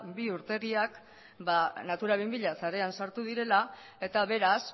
bi urtegiak natura bi mila sarean sartu direla eta beraz